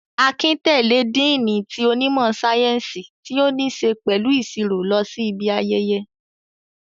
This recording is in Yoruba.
Akin tẹ̀lé díìnì ti onímọ̀ sáyẹ́ǹsì ti o ni ṣe pẹ̀lú ìsirò lọ sí ibi ayẹyẹ